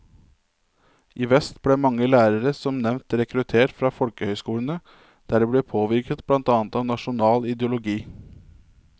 I vest ble mange lærere som nevnt rekruttert fra folkehøyskolene, der de ble påvirket blant annet av nasjonal ideologi.